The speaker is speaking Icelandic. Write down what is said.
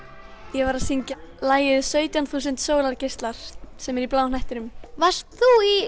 ég var að syngja lagið sautján þúsund sólargeislar sem er í Bláa hnettinum varst þú í